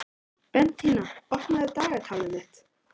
Bentína, opnaðu dagatalið mitt.